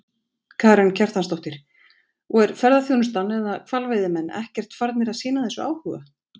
Karen Kjartansdóttir: Og er ferðaþjónustan eða hvalveiðimenn ekkert farnir að sýna þessu áhuga?